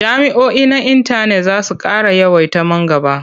Jami'oi na intanet za su ƙara yawaita man gaba.